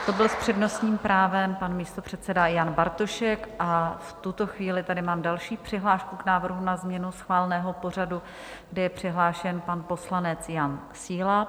To byl s přednostním právem pan místopředseda Jan Bartošek a v tuto chvíli tady mám další přihlášku k návrhům na změnu schváleného pořadu, kdy je přihlášen pan poslanec Jan Síla.